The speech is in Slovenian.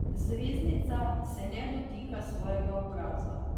Zvezdnica se ne dotika svojega obraza.